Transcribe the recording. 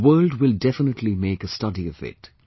The world will definitely make a study of it